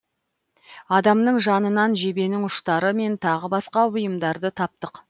адамның жанынан жебенің ұштары мен тағы басқа бұйымдарды таптық